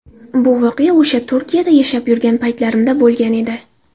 Bu voqea o‘sha Turkiyada yashab yurgan paytlarimda bo‘lgan edi.